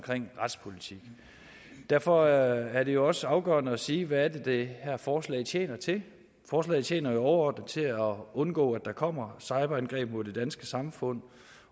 retspolitik derfor er det også afgørende at sige hvad det er det her forslag tjener til forslaget tjener jo overordnet til at undgå at der kommer cyberangreb mod det danske samfund